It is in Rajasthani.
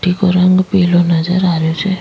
मिटटी को रंग पिलो नजर आ रहियो छे।